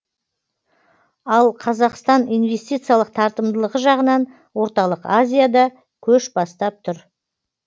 ал қазақстан инвестициялық тартымдылығы жағынан орталық азияда көш бастап тұр